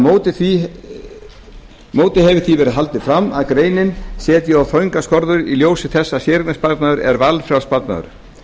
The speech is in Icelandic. móti hefur því verið haldið fram að greinin setji of þröngar skorður í ljósi þess að séreignarsparnaður er valfrjáls sparnaður